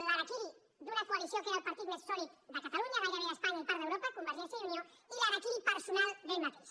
l’harakiri d’una coalició que era el partit més sòlid de catalunya gairebé d’espanya i part d’europa convergència i unió i l’harakiri personal d’ell mateix